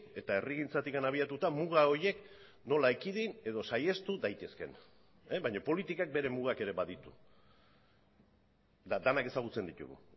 eta herrigintzatik abiatuta muga horiek nola ekidin edo saihestu daitezkeen baina politikak bere mugak ere baditu eta denak ezagutzen ditugu